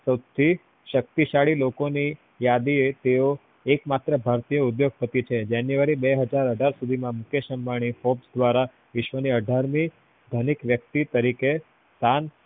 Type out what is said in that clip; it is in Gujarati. સવથી શક્તિશાળી લોકોની યાદી એ એકમાત્ર ભારતીય ઉદ્યોગપતિ છે january બે હાજર અઢાર સુધી માં મુકેશ અંબાની hopes દ્વારા વિશ્વ ની અઢારમી ધનિક વ્યક્તિ તરીકે સ્થાન